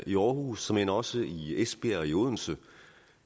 i aarhus såmænd også i esbjerg og i odense